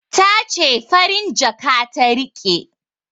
Ta ce farin jaka ta riƙe